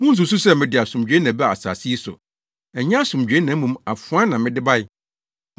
“Munnsusuw sɛ mede asomdwoe na ɛbaa asase yi so! Ɛnyɛ asomdwoe na mmom afoa na mede bae.